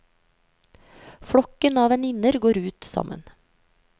Flokken av venninner går ut sammen.